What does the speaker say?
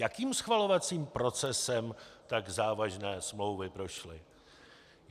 Jakým schvalovacím procesem tak závažné smlouvy prošly?